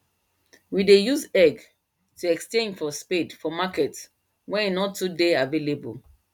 we dey use egg to exchange for spade for market wen e nor too dey available